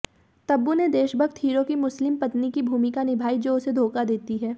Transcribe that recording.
तबू ने देशभक्त हीरो की मुस्लिम पत्नी की भूमिका निभाई जो उसे धोखा देती है